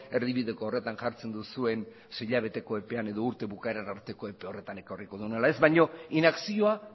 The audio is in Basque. erdibideko horretan jartzen duzuen sei hilabeteko epean edo urte bukaera arteko epe horretan ekarriko duen ala ez baino inakzioa